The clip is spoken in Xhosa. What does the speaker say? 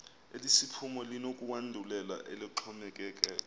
elesiphumo linokwandulela eloxhomekeko